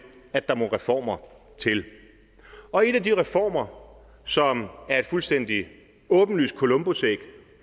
at der må reformer til og en af de reformer som er et fuldstændig åbenlyst columbusæg